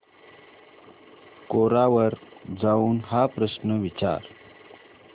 कोरा वर जाऊन हा प्रश्न विचार